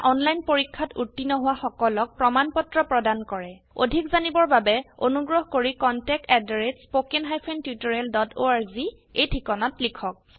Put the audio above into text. এটা অনলাইন পৰীক্ষাত উত্তীৰ্ণ হোৱা সকলক প্ৰমাণ পত্ৰ প্ৰদান কৰে অধিক জানিবৰ বাবে অনুগ্ৰহ কৰি contactspoken tutorialorg এই ঠিকনাত লিখক